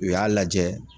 U y'a lajɛ